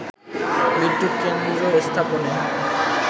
বিদ্যুৎ কেন্দ্র স্থাপনে